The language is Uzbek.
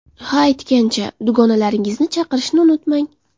Ha, aytgancha, dugonalaringizni chaqirishni unutmang!